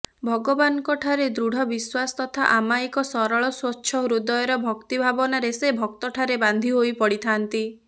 ଭଗବାନଙ୍କଠାରେ ଦୃଢ ବିଶ୍ୱାସ ତଥା ଅମାୟିକ ସରଳ ସ୍ୱଚ୍ଛ ହୃଦୟର ଭକ୍ତି ଭାବନାରେ ସେ ଭକ୍ତଠାରେ ବାନ୍ଧି ହୋଇପଡ଼ିଥାନ୍ତି